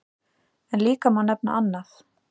En líka má nefna annað.